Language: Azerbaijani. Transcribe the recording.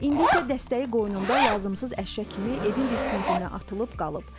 İndi isə dəstəyi qoynunda lazımsız əşya kimi evin bir küncündə atılıb qalıb.